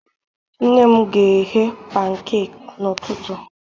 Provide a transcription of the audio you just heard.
Nne m ga-eghe pankek n'ụtụtụ.